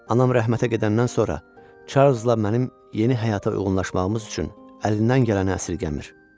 Anam rəhmətə gedəndən sonra Çarlzla mənim yeni həyata uyğunlaşmağımız üçün əlindən gələni əsirgəmir.